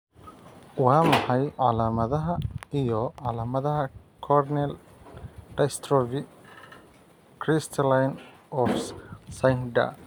Waa maxay calaamadaha iyo calaamadaha Corneal dystrophy crystalline of Schnyder?